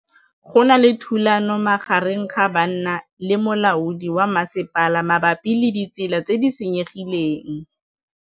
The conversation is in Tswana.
Go na le thulanô magareng ga banna le molaodi wa masepala mabapi le ditsela tse di senyegileng.